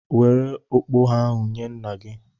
Were okpogho ahụ nye nna gị!